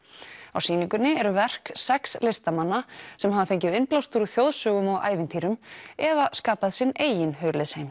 á sýningunni eru verk sex listamanna sem hafa fengið innblástur úr þjóðsögum og ævintýrum eða skapað sinn eigin